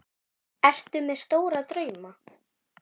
Ertu með stóra drauma?